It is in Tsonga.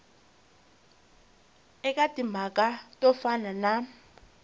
eka timhaka to fana na